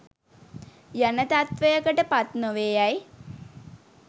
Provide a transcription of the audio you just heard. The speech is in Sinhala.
යන තත්වයකට පත් නොවේ යැයි